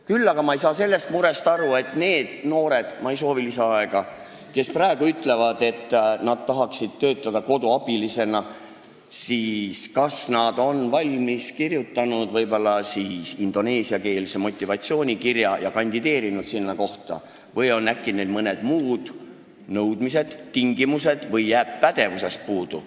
Küll aga ei saa ma aru nende noorte murest, kes ütlevad, et nad tahaksid töötada koduabilisena – kas nad on valmis kirjutanud indoneesiakeelse motivatsioonikirja, on nad sinna kohta kandideerinud või on neil mingid muud nõudmised, tingimused või jääb neil pädevusest puudu.